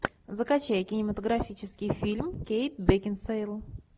закачай кинематографический фильм кейт бекинсейл